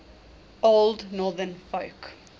old northern folk